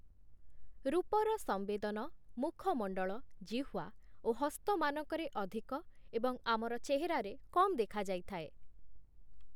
ରୂପର ସଂବେଦନ ମୁଖମଣ୍ଡଳ, ଜିହ୍ଵା ଓ ହସ୍ତମାନଙ୍କରେ ଅଧିକ ଏବଂ ଆମର ଚେହେରାରେ କମ୍ ଦେଖାଯାଇଥାଏ ।